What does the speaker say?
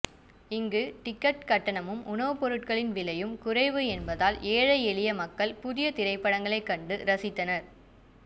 இங்கு டிக்கெட் கட்டணமும் உணவு பொருட்களின் விலையும் குறைவு என்பதால் ஏழை எளிய மக்கள் புதிய திரைப்படங்களை கண்டு ரசித்தனர்